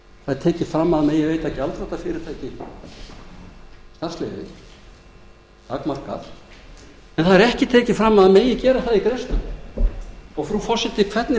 er tekið fram að veita megi gjaldþrota fyrirtæki starfsleyfi takmarkað en það er ekki tekið fram að slíkt megi gera í greiðslustöðvun og frú forseti hvernig